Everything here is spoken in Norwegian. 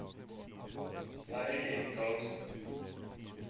Eirin Karlsen